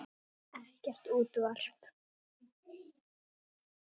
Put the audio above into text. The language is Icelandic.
Ekkert útvarp.